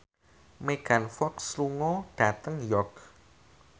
Megan Fox lunga dhateng York